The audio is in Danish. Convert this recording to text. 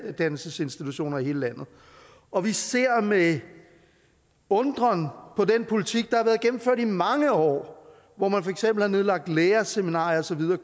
uddannelsesinstitutioner i hele landet og vi ser med undren på den politik der har været gennemført i mange år hvor man for eksempel har nedlagt lærerseminarier og så videre